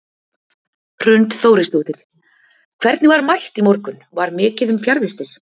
Hrund Þórisdóttir: Hvernig var mætt í morgun, var mikið um fjarvistir?